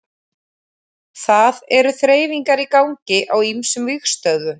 Það eru þreifingar í gangi á ýmsum vígstöðvum.